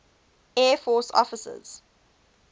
air force officers